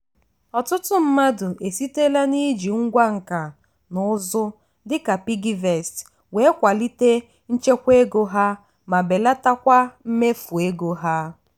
ọtụtụ mmadụ esitela n'iji ngwá nka na ụzụ dịka piggyvest wee kwalite nchekwa ego ha ma belatakwa mmefu ego ha.